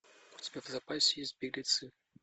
у тебя в запасе есть беглецы